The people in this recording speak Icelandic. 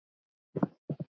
Svala á fjögur börn.